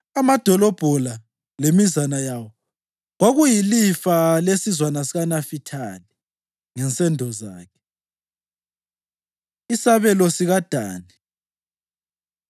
Amadolobho la lemizana yawo kwakuyilifa lesizwana sikaNafithali ngensendo zakhe. Isabelo SikaDani